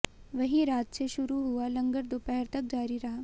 वहीं रात से शुरू हुआ लंगर दोपहर तक जारी रहा